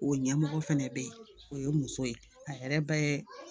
O ɲɛmɔgɔ fɛnɛ bɛ ye o ye muso ye a yɛrɛ bɛ